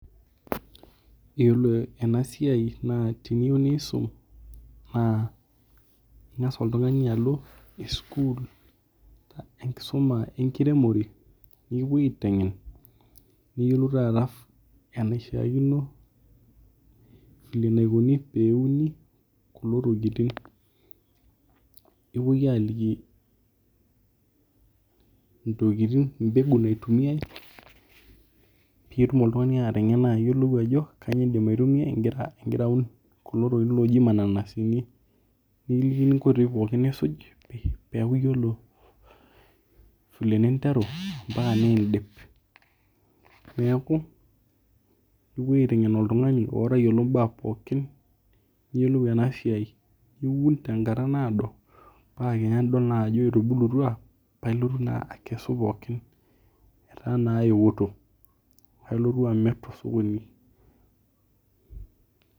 Yiolo ena isia naa teniyoeu nisum naa ing'as oltung'ani alo sukul enkisuma enkiremore nikipuoi aiteng'en niyolou taa eningo vile enaikoni teneuni kulo tokitin nipoi aliki intokitin embegu naitumia pitum oltung'ani atengena ajo aitumia igira aun kulo tokitin looji ilmananasini nikikini inkoitoi pookin nisuj peeku iyiolo file ninteru moaka nidip neeku kepuo aiteng'en oltung'ani oo tayiolo. baa pookin piyolou ena siai. Iun tenkata naado naa tenidol naa ajo etubulutua namilotu naa akesu pookin anaa nayetuo nilotu amir too sokoni.